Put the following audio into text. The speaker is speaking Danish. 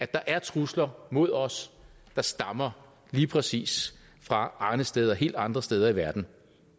der er trusler mod os der stammer lige præcis fra arnesteder helt andre steder i verden